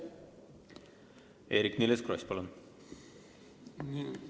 Eerik-Niiles Kross, palun!